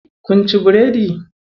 Kun ci biredi?